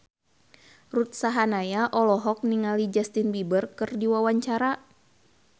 Ruth Sahanaya olohok ningali Justin Beiber keur diwawancara